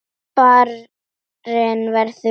Barinn verður úr ís.